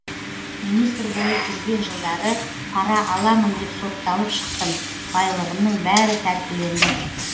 министр болып жүрген жылдары пара аламын деп сотталып шықтым байлығымның бәрі тәркіленді